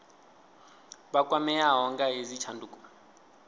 vha kwameaho nga hedzi tshanduko